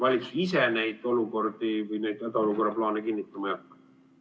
Valitsus ise neid olukordi või neid hädaolukorra plaane kinnitama ei hakka.